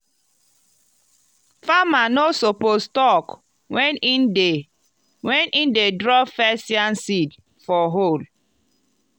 farmer no suppose talk when e dey when e dey drop first yam seed for hole.